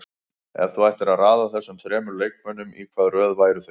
Ef þú ættir að raða þessum þremur leikmönnum, í hvaða röð væru þeir?